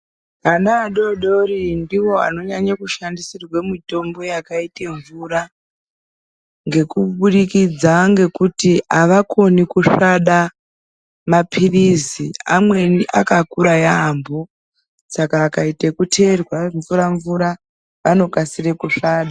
Ana adodori ndiwo anonyanye kushandisirwe mitombo yakaite mvura ngekubudikidza ngekuti avakoni kusvada mapirizi amweni akakura yaampo saka akaite kuteerwa mvura mvura anokasire kusvada.